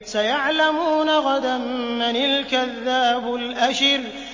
سَيَعْلَمُونَ غَدًا مَّنِ الْكَذَّابُ الْأَشِرُ